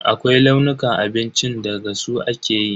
Akwai launukan abincin da gasa su ake yi.